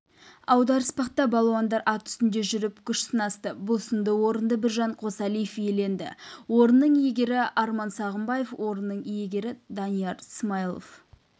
аударыспақта балуандар ат үстінде жүріп күш сынасты бұл сында орынды біржан қосалиев иеленді орынның иегері арман сағымбаев орынның иегері данияр смайлов